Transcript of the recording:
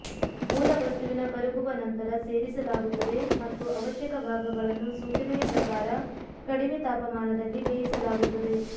ಮೂಲ ವಸ್ತುವಿನ ಕರಗುವ ನಂತರ ಸೇರಿಸಲಾಗುತ್ತದೆ ಮತ್ತು ಅವಶ್ಯಕ ಭಾಗಗಳನ್ನು ಸೂಚನೆಯ ಪ್ರಕಾರ ಕಡಿಮೆ ತಾಪಮಾನದಲ್ಲಿ ಬೇಯಿಸಲಾಗುತ್ತದೆ